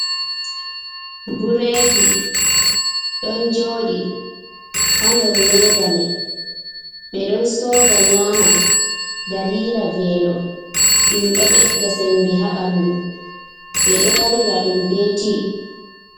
Bureedi ɗon joodi ha nder leedama ɓe ɗon sooda nyaama dalila veelo ɗum ɗo ɓedda sembe ha bandu ɓe ɗo yarira ɗum ɓe tii.